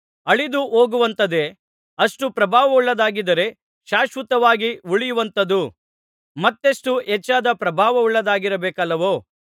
ಅಳಿದು ಹೋಗುವಂಥದ್ದೇ ಅಷ್ಟು ಪ್ರಭಾವವುಳ್ಳದ್ದಾಗಿದ್ದರೆ ಶಾಶ್ವತವಾಗಿ ಉಳಿಯುವಂಥದ್ದು ಮತ್ತೆಷ್ಟು ಹೆಚ್ಚಾದ ಪ್ರಭಾವವುಳ್ಳದ್ದಾಗಿರಬೇಕಲ್ಲವೋ